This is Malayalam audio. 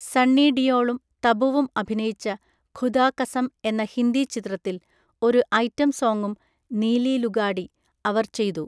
സണ്ണി ഡിയോളും തബുവും അഭിനയിച്ച ഖുദാ കസം എന്ന ഹിന്ദി ചിത്രത്തിൽ ഒരു ഐറ്റം സോങ്ങും (നീലി ലുഗാഡി) അവർ ചെയ്തു.